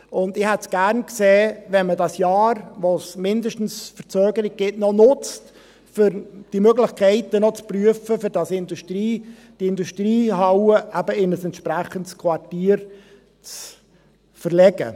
Ich hätte es gerne gesehen, wenn man das Jahr, in dem es mindestens Verzögerung gibt, noch nutzt, um die Möglichkeiten noch zu prüfen, um die Industriehalle eben in ein entsprechendes Quartier zu verlegen.